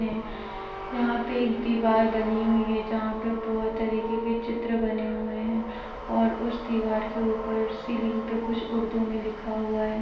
में यहाँ पर एक दीवार बनी हुई है जहाँ पर बहुत तरीके के चित्र बने हुए हैं और उस दीवार के ऊपर सीलिंग पर कुछ उर्दू में लिखा हुआ है।